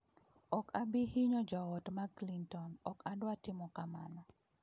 Ok abi hinyo joot mag Clinton, ok adwar timo kamano."